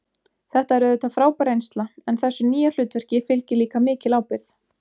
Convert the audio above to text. Þetta er auðvitað frábær reynsla en þessu nýja hlutverki fylgir líka mikil ábyrgð.